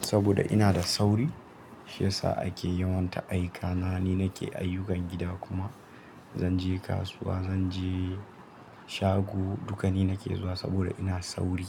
saboda ina da sauri, shi ya sa ake yi wanna aika. Na ni nake ayyukan gida kuma zanje kasuwa, zanje shago, dukani nake zuwa saboda ina sauri.